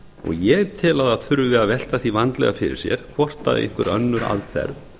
ég tel að það þurfi að velta því vandlega fyrir sér hvort einhver önnur aðferð